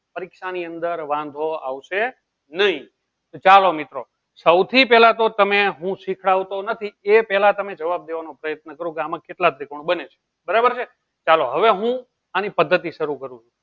પરીક્ષાની અંદર વાંધો આવશે નહીં. તો ચાલો મિત્રો સૌથી પહેલા તો તમે હું શીખવતો નથી. એ પહેલા તમે જવાબ દેવાનો પ્રયત્ન કરો કે આમાં કેટલા ત્રિકોણ બને છે? બરાબર છે? ચાલો હવે હું આની પદ્ધતિ શરુ કરું